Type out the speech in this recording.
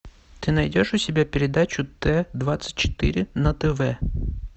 ты найдешь у себя передачу т двадцать четыре на тв